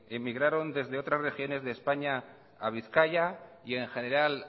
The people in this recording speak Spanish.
emigraron desde otras regiones de españa a bizkaia y en general